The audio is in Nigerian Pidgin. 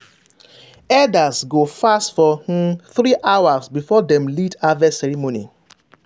elders go fast for um three hours before dem lead harvest ceremony.